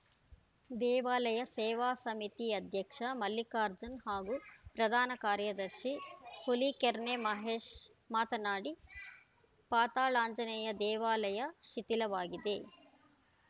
ದೇವಾಲಯ ಸೇವಾ ಸಮಿತಿ ಅಧ್ಯಕ್ಷ ಮಲ್ಲಿಕಾರ್ಜುನ್‌ ಹಾಗು ಪ್ರಧಾನ ಕಾರ್ಯದರ್ಶಿ ಹುಲಿಕೆರ್ನೆ ಮಹೇಶ್‌ ಮಾತನಾಡಿ ಪಾತಾಳಾಂಜನೇಯ ದೇವಾಲಯ ಶಿಥಿಲವಾಗಿದೆ